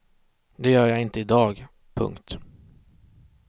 Det gör jag inte i dag. punkt